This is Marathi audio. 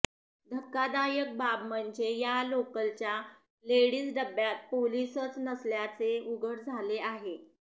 धक्कादायक बाब म्हणजे या लोकलच्या लेडीज डब्यात पोलीसच नसल्याचे उघड झाले आहे